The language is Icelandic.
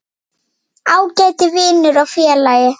Ágæti vinur og félagi.